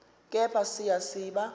kepha siya siba